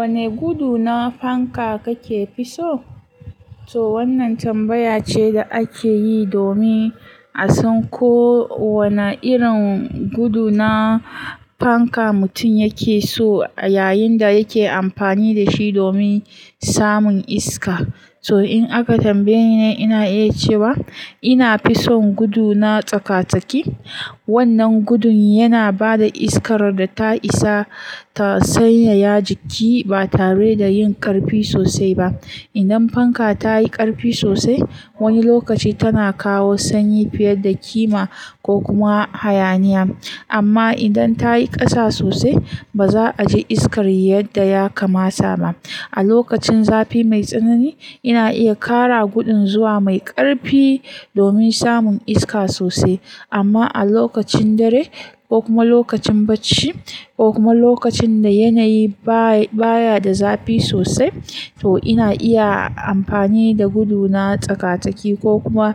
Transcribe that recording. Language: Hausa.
Wane gudu na fanka kake fi so? To wannan tambaya ce da ake yi domin a san ko wane irin gudu na fanka mutum yake so yayin da yake amfani da shi domin samun iska. To in aka tambaye ni, ina iya cewa ina fi son gudu na tsaka-tsaki. Wannan gudun yana ba da iskar da ta isa ta sanyaya jiki ba tare da yin ƙarfi sosai ba. Idan fanka ta yi ƙarfi sosai, wani lokaci tana kawo sanyi fiye da ƙima ko kuma hayaniya. Amma idan ta yi ƙasa sosai, ba za a ji iskar yadda ya kamata ba. A lokacin zafi mai tsanani, ina iya ƙara gudun zuwa mai ƙarfi domin samun iska sosai. Amma a lokacin dare ko kuma lokacin bacci ko kuma lokacin da yanayi baya baya da zafi sosai, to ina iya amfani da gudu na tsaka-tsaki ko kuma